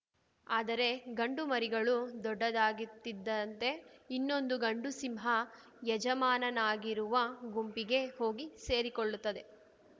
ಆದರೆ ಗಂಡು ಮರಿಗಳು ದೊಡ್ಡದಾಗಿತ್ತಿದ್ದಂತೆ ಇನ್ನೊಂದು ಗಂಡು ಸಿಂಹ ಯಜಮಾನನಾಗಿರುವ ಗುಂಪಿಗೆ ಹೋಗಿ ಸೇರಿಕೊಳ್ಳುತ್ತವೆ